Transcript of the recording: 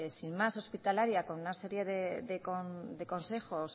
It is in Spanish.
sin más hospitalaria con una serie de consejos